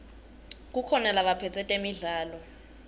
kukhona labaphetse temidlalo